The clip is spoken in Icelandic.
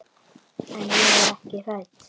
En ég er ekki hrædd.